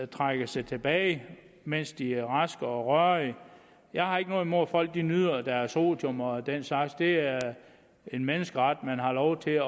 trækker sig tilbage mens de er raske og rørige jeg har ikke noget imod at folk nyder deres otium og den slags det er en menneskeret at man har lov til at